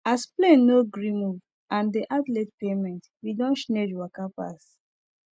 as plane no gree move and dey add late payment we don chnage waka asap